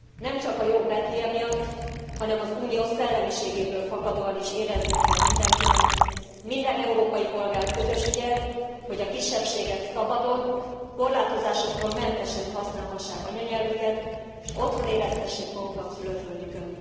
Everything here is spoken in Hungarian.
Nem csak a jog betűje miatt, hanem az Unió szellemiségéből fakadóan is éreznie kell mindenkinek minden európai polgár közös ügye, hogy a kisebbségek szabadon, korlátozásoktól mentesen használhassák anyanyelvüket s otthon érezhessék magukat szülőföldjükön.